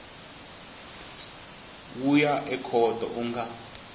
wu ya ekhoto u nga